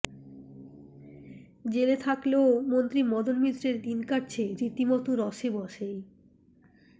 জেলে থাকলেও মন্ত্রী মদন মিত্রের দিন কাটছে রীতিমতো রসেবশেই